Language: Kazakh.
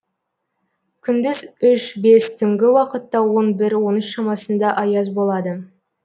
күндіз үш бес түнгі уақытта он бір он үш шамасында аяз болады